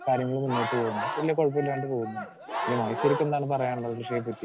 Speaker 2 കാര്യങ്ങള് മുന്നോട്ട് പോ വലിയ കുഴപ്പമില്ലാണ്ട് പോകുന്നുണ്ട്. ഇനി മഹേശ്വരിക്കെന്താണ് പറയാനുള്ളത് കൃഷിയെപ്പറ്റി?